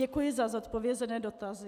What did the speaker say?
Děkuji za zodpovězené dotazy.